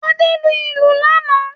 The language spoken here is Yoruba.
Adé lu ìlù lánàá.